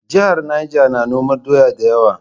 Jihar Neja na noman doya da yawa.